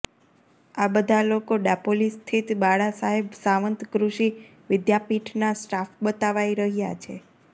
આ બધા લોકો ડાપોલી સ્થિત બાળા સાહેબ સાવંત કૃષિ વિદ્યાપીઠના સ્ટાફ બતાવાય રહ્યા છે